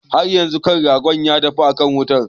Haryanzun ƙan ragon na dafuwa akan wuta.